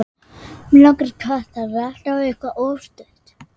Mig langaði í kött.